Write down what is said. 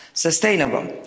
sustainable.